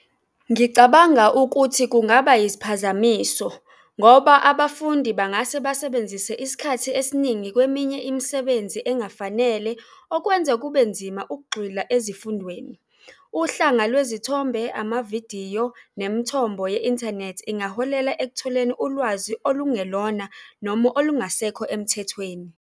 Ngicabanga ukuthi kungaba isiphazamiso ngoba abafundi bangase basebenzise isikhathi esiningi kweminye imisebenzi engafanele okwenza kube nzima ukugxila ezifundweni. Uhlanga lwezithombe, amavidiyo nemithombo ye-inthanethi ingaholela ekutholeni ulwazi olungelona noma olungasekho emthethweni.